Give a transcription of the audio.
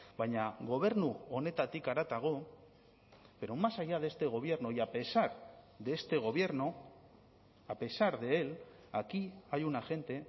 baina gobernu honetatik haratago pero más allá de este gobierno y a pesar de este gobierno a pesar de él aquí hay una gente